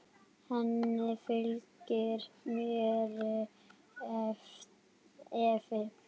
Henni fylgir meiri efi.